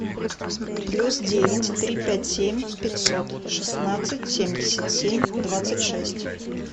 плюс девять три пять семь пятьсот шестнадцать семьдесят семь двадцать шесть